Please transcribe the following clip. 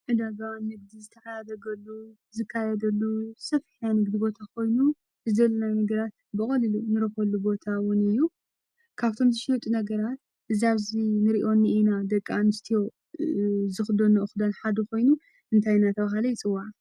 እዳጓ ምግዲ ዝተያ በገሉ ዝካየደሉ ሰፍሕያን ግቢ ቦታ ኾይኑ ዝዘለናይ ምግራት ብቐሊሉ ንረኾሉ ቦታውን እዩ ካብቶምዝ ሽዩጡ ነገራት ዛብዙ ንርዮኒ ኢና ደቃ ን ስቲዮ ዝኽደኖ ኦዂዳን ሓዲ ኾይኑ እንታይናታ ኣውሃለ ይፅዋዕ።